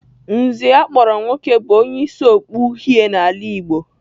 Nze akpọrọ nwoke bụ onye isi okpu uhie n'ala Igbo.